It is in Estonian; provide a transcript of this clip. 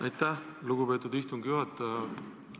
Aitäh, lugupeetud istungi juhataja!